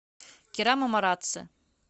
керама марацци